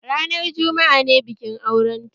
Ranar jumma'a ne bikin auren ta